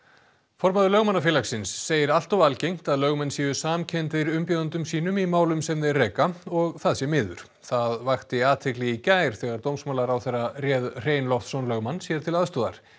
formaður Lögmannafélagsins segir allt of algengt að lögmenn séu samkenndir umbjóðendum sínum í málum sem þeir reka og það sé miður það vakti athygli í gær þegar dómsmálaráðherra réð Hrein Loftsson lögmann sér til aðstoðar